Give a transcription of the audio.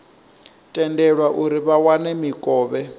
tendelwe uri vha wane mikovhe